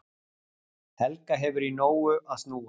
Helga hefur í nógu að snúast